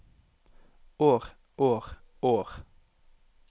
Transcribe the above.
år år år